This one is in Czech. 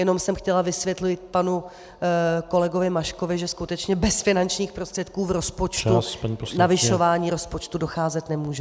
Jenom jsem chtěla vysvětlit panu kolegovi Maškovi, že skutečně bez finančních prostředků v rozpočtu k navyšování rozpočtu docházet nemůže.